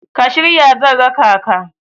ka shirya zan raka ka?